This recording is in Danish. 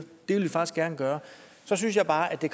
det vil de faktisk gerne gøre så synes jeg bare at det